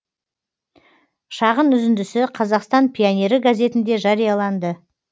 шағын үзіндісі қазақстан пионері газетінде жарияланды